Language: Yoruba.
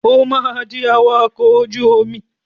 O máa di awakọ̀ ojú omi.